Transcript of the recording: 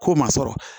K'o ma sɔrɔ